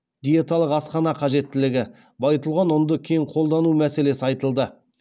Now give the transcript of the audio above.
диеталық асхана қажеттілігі байытылған ұнды кең қолдану мәселесі айтылды